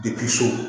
Depi so